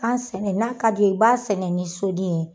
Gan sɛnɛ n'a ka d'i ye i b'a sɛnɛ ni sodi ye.